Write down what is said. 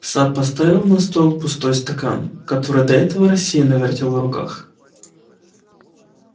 сатт поставил на стол пустой стакан который до этого рассеянно вертел в руках